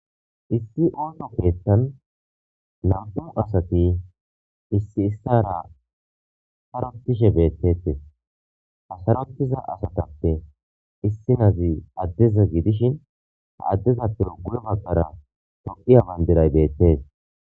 Issi ooto keettan namto asati issi issara harotishe beettetes hasarottiza asatappe issi nazi addeza giidishin ha addezappe ugu'e maqara toqiya bayndiray beettes.